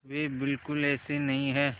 वे बिल्कुल ऐसे नहीं हैं